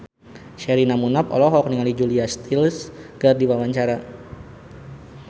Sherina Munaf olohok ningali Julia Stiles keur diwawancara